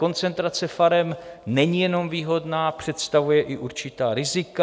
Koncentrace farem není jenom výhodná, představuje i určitá rizika.